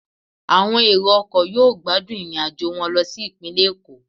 Àwọn èrò ọkọ̀ yóò gbádùn irinajo wọn lo si ipinle Eko